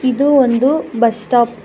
ಇದು ಒಂದು bus stop .